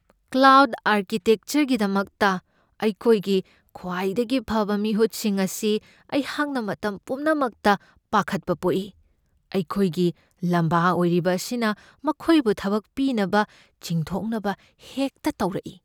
Cloud ꯑꯥꯔꯀꯤꯇꯦꯛꯆꯔꯒꯤꯗꯃꯛꯇ ꯑꯩꯈꯣꯏꯒꯤ ꯈ꯭ꯋꯥꯏꯗꯒꯤ ꯐꯕ ꯃꯤꯍꯨꯠꯁꯤꯡ ꯑꯁꯤ ꯑꯩꯍꯥꯛꯅ ꯃꯇꯝ ꯄꯨꯝꯅꯃꯛꯇ ꯄꯥꯈꯠꯄ ꯄꯣꯛꯏ ꯫ ꯑꯩꯈꯣꯏꯒꯤ ꯂꯥꯝꯕꯥ ꯑꯣꯏꯔꯤꯕ ꯑꯁꯤꯅ ꯃꯈꯣꯏꯕꯨ ꯊꯕꯛ ꯄꯤꯅꯕ ꯆꯤꯡꯊꯣꯛꯅꯕ ꯍꯦꯛꯇ ꯇꯧꯔꯛꯏ ꯫